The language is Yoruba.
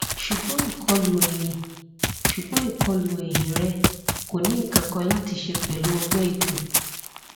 ṣugbọn ikolu ẹhin ṣugbọn ikolu ẹhin rẹ ko ni nkankan lati ṣe pẹlu ọgbẹ ikùn